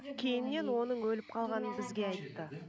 кейіннен оның өліп қалғанын бізге айтты